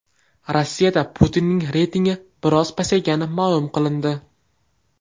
Rossiyada Putinning reytingi biroz pasaygani ma’lum qilindi.